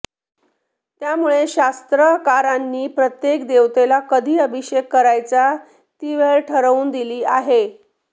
त्यामुळे शास्त्रकारांनी प्रत्येक देवतेला कधी अभिषेक करायचा ती वेळ ठरवून दिली आहे